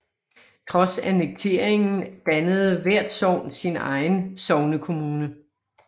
Trods annekteringen dannede hvert sogn sin egen sognekommune